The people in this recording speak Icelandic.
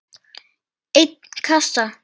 einn kassa?